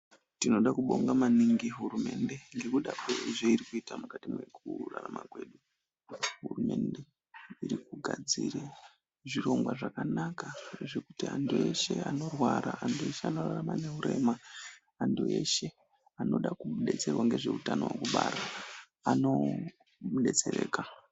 Tinode kubonga maningi hurumende ngekuda kwezveiri kuita mwukati mwekurarama kwedu. Hurumende iri kugadzire zvirongwa zvakanaka zvekuti antu eshe anorwara, antu eshe anorarama neurema, antu eshe anoda kudetserwa ngezveutano hwekubara anodetsereka.